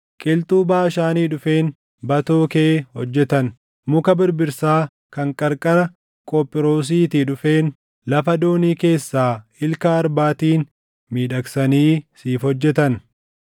Qilxuu Baashaanii dhufeen batoo kee hojjetan; muka birbirsaa kan qarqara Qophiroosiitii dhufeen lafa doonii keessaa ilka arbaatiin // miidhagsanii siif hojjetan.